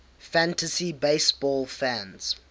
fantasy baseball fans